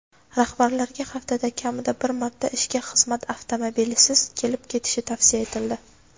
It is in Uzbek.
Rahbarlarga haftada kamida bir marta ishga xizmat avtomobilisiz kelib-ketishi tavsiya etildi.